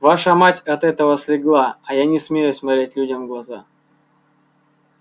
ваша мать от этого слегла а я не смею смотреть людям в глаза